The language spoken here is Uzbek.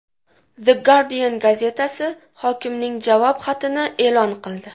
The Guardian gazetasi hokimning javob xatini e’lon qildi .